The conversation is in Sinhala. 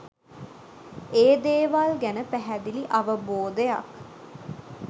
ඒ දේවල් ගැන පැහැදිලි අවබෝධයක්